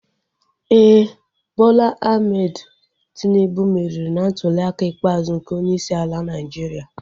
Éè, Bola Ahmed Tinubu meriri na ntuliaka ikpeazụ nke onyeisi ala Naịjiria